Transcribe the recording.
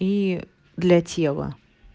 и для тела